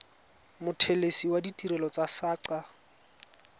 mothelesi wa ditirelo tsa saqa